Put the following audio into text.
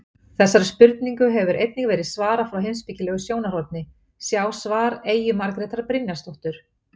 Þessari spurningu hefur einnig verið svarað frá heimspekilegu sjónarhorni, sjá svar Eyju Margrétar Brynjarsdóttur.